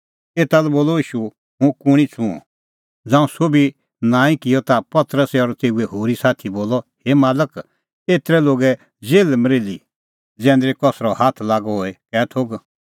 एता लै बोलअ ईशू हुंह कुंणी छ़ुंअ ज़ांऊं सोभी नांईं किअ ता पतरसै और तेऊए होरी साथी बोलअ हे मालक एतरी लोगे जेल्हमरेल्ही जैंदरी कसरअ हाथ लागअ होए कै थोघ